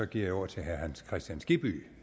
giver jeg ordet til herre hans kristian skibby